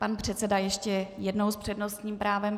Pan předseda ještě jednou s přednostním právem.